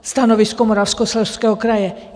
Stanovisko Moravskoslezského kraje.